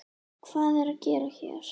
Hvað er ég að gera hér?